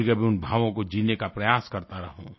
कभीकभी उन भावों को जीने का प्रयास करता रहूँ